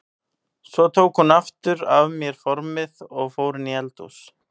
Svo tók hún aftur af mér formið og fór inn í eldhús.